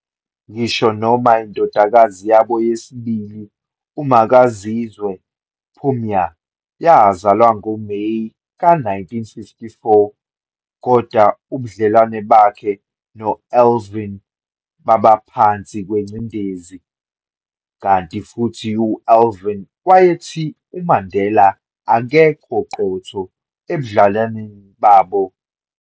Ngisho noma indodakazi yabo yesibili uMakaziwe Phumia yazalwa ngoMeyi ka-1954, kodwa ubudlelwane bakhe no-Evelyn babaphansi kwengcindezi, kanti futhi u-Evelyn wayethi kuMandela akekho qotho ebudlelwaneni babo.